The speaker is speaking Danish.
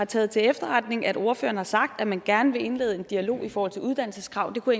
tager til efterretning at ordføreren har sagt at man gerne vil indlede en dialog i forhold til uddannelseskrav jeg kunne